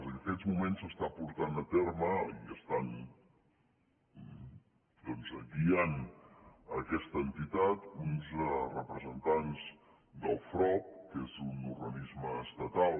en aquests moments s’està portant a terme i estan doncs guiant aquesta entitat uns representants del frob que és un organisme estatal